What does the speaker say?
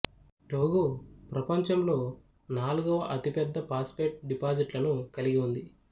Togo ప్రపంచంలో నాలుగవ అతిపెద్ద ఫాస్ఫేట్ డిపాజిట్లను కలిగి ఉంది